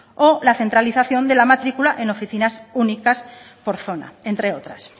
o la centralización de la matrícula en oficina únicas por zona entre otras